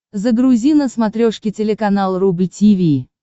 загрузи на смотрешке телеканал рубль ти ви